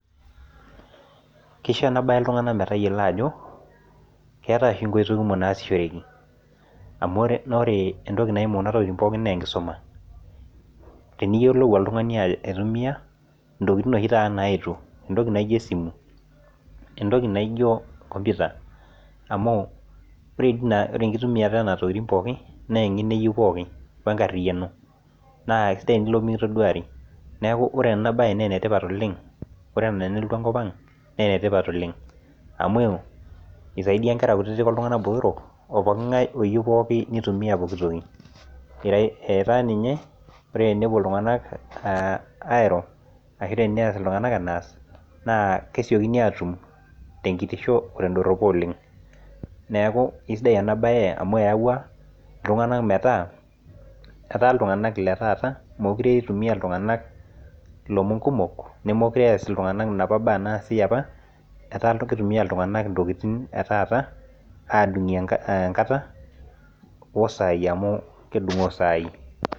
Kishoo enabe ltunganak metayiolo ajo keeta nkoitoi kumok nasishoreki amu ore kuna tokitin na enkisuja eimu amu kenare niyiolou oltungani aitumia ntokitin oshibm naetuo amu ore enkitumiata onona tokikitin na enkariano ashu engeno eyieu na kesidai oleng ore ena pelotu enkipang naa enetipat oleng amu isaidia nkera kutitik onkera botorok oopooki ngae oyieu nitumie enatoki etaa ninye enepuo ltunganak airo ashu neaku kesidai enabae amu eyaua ltunganak metaa etaa ltunganak letaa mekute eas ltunganak ntokitin naas apa ata kitumia ltunganak ntokitin etaata adungie enkata osai amu kedungoo sai